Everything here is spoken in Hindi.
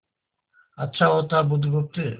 अच्छा होता बुधगुप्त